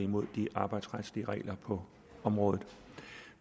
mod de arbejdsretlige regler på området